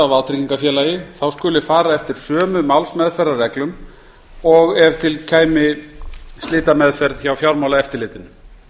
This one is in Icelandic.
á vátryggingafélagi skuli fara eftir sömu málsmeðferðarreglum og ef til kæmi slitameðferð hjá fjármálaeftirlitinu